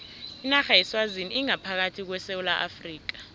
inarha yeswazini ingaphakathi kwesewula afrika